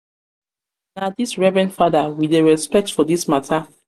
this reverened fada we dey respect for this mata.